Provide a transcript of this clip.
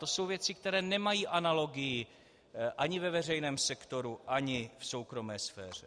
To jsou věci, které nemají analogii ani ve veřejném sektoru ani v soukromé sféře.